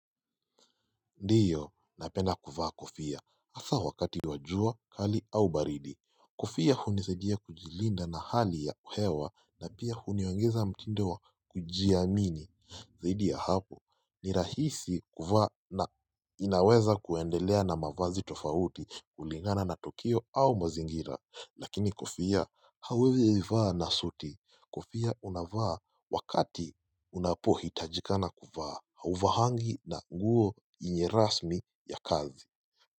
Ndiyo, napenda kuvaa Kofia, hasa wakati wa jua kali au baridi Kofia hunisaidia kujilinda na hali ya hewa na pia huniongeza mtindo wa kujiamini Zaidi ya hapo, ni rahisi kuvaa na inaweza kuendelea na mavazi tofauti kulingana na tokio au mazingira Lakini Kofia hauezi yaivaa na suti Kofia unavaa wakati unapohitajikana kuvaa Hauvahangi na nguo ye rasmi ya kazi.